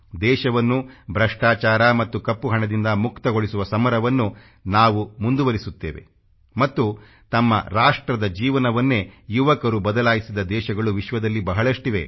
ದೇಶವನ್ನು ಭ್ರಷ್ಟಾಚಾರ ಮತ್ತು ಕಪ್ಪು ಹಣದಿಂದ ಮುಕ್ತಗೊಳಿಸುವ ಸಮರವನ್ನು ನಾವು ಮುದುವರಿಸುತ್ತೇವೆ ಮತ್ತು ತಮ್ಮ ರಾಷ್ಟ್ರದ ಜೀವನವನ್ನೇ ಯುವಕರು ಬದಲಾಯಿಸಿದ ದೇಶಗಳು ವಿಶ್ವದಲ್ಲಿ ಬಹಳಷ್ಟಿವೆ